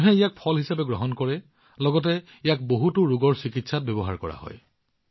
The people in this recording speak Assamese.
মানুহে ইয়াক ফল হিচাপে গ্ৰহণ কৰে লগতে ইয়াক বহুতো ৰোগৰ চিকিৎসাত ব্যৱহাৰ কৰা হয়